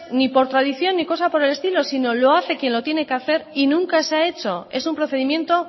ni por tradición ni cosa por el estilo sino lo hace quien lo tiene que hacer y nunca se ha hecho es un procedimiento